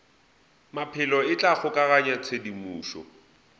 maphelo e tla kgokaganya tshedimošo